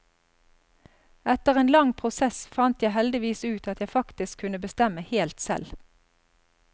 Etter en lang prosess fant jeg heldigvis ut at jeg faktisk kunne bestemme helt selv.